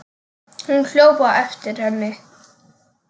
Hún hljóp á eftir henni.